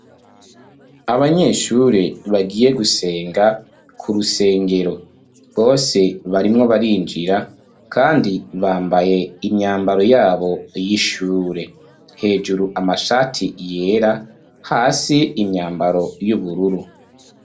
Abanyeshure, bagiye gusenga, ku rusengero; bose, barimwo barinjira, kandi, bambaye, imyambaro yabo, y'ishure; hejuru amashati yera, hasi imyambaro y'ubururu.